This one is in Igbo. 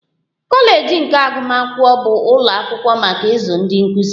Kọleji nke agụmakwụkwọ bụ ụlọ akwụkwọ maka ịzụ ndị nkụzi